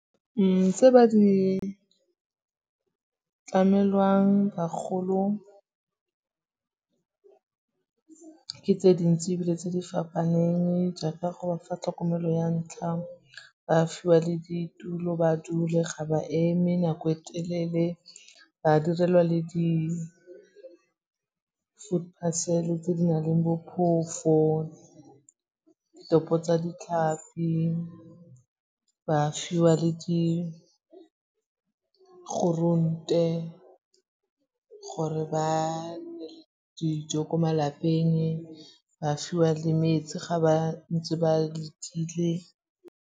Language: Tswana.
Tse ba di tlamelwang bagolo ke tse dintsi ebile tse di fapaneng jaaka go ba fa tlhokomelo ya ntlha, ba fiwa le ditulo ba dule ga ba eme nako e telele, ba direlwa le di-food parcel tse di na leng bo phofo, ditopo tsa ditlhapi, ba fiwa le di groente gore ba dijo ko malapeng, ba fiwa le metsi ga ba ntse ba letile.